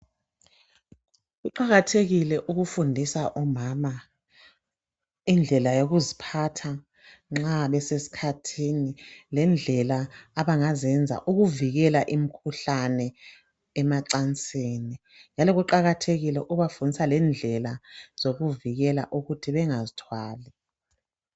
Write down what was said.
Kuqakathekile ukufundisa omama indlela yokuziphatha nxa beseskhathini lendlela abangazenza ukuvikela imukhuhlane emacansini njalo kuqakathekile lokubafundisa lendlela zokuvikela ukuthi bengazithwali